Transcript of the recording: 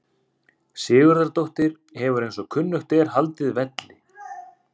Sigurðardóttir hefur eins og kunnugt er haldið velli.